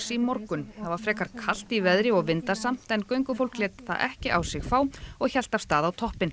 í morgun það var fremur kalt í veðri og vindasamt en göngufólk lét það ekki á sig fá og hélt af stað á toppinn